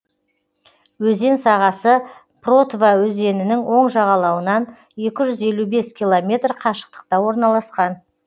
өзен сағасы протва өзенінің оң жағалауынан екі жүз елу бес километр қашықтықта орналасқан